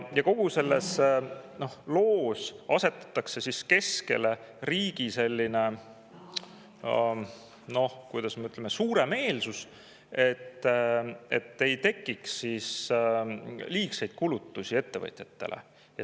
Ja kogu selles loos asetatakse keskele riigi selline, kuidas öelda, suuremeelsus: et ei tekiks liigseid kulutusi ettevõtjatele.